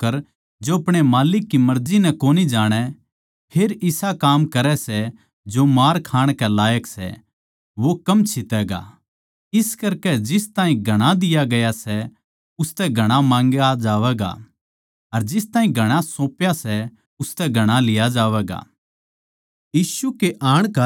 पर हरेक वो नौक्कर जो अपणे माल्लिक की मर्जी नै कोनी जाणै फेर इसा काम करै सै जो मार खाण के लायक सै वो कम छितैगा इस करकै जिस ताहीं घणा दिया गया सै उसतै घणा माँगया जावैगा अर जिस ताहीं घणा सौप्या सै उसतै घणा लिया जावैगा